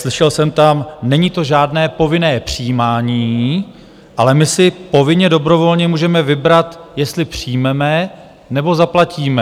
Slyšel jsem tam: není to žádné povinné přijímání, ale my si povinně dobrovolně můžeme vybrat, jestli přijmeme, nebo zaplatíme.